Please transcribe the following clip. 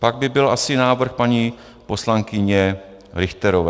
Pak by byl asi návrh paní poslankyně Richterové.